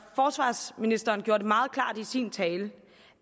forsvarsministeren gjorde det meget klart i sin tale